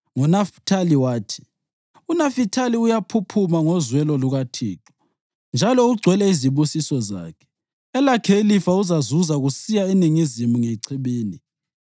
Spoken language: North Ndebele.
NgoNafithali wathi: “UNafithali uyaphuphuma ngozwelo lukaThixo njalo ugcwele izibusiso zakhe; elakhe ilifa uzazuza kusiya eningizimu ngechibini.”